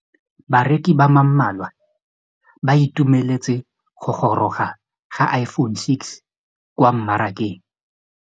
Bareki ba ba malwa ba ituemeletse go gôrôga ga Iphone6 kwa mmarakeng.